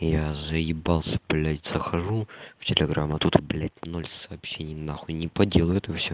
я заебался блядь захожу в телеграм а тут блядь ноль сообщений нахуй не по делу это всё